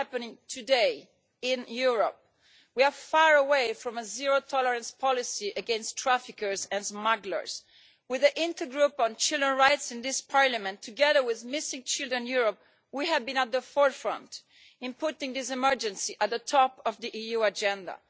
It is happening today in Europe. We are far away from a zero tolerance policy against traffickers and smugglers. With the Intergroup on Children's Rights in this Parliament, together with Missing Children Europe, we have been at the forefront in putting this emergency at the top of the EU agenda.